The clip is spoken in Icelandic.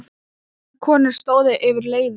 Tvær konur stóðu yfir leiði.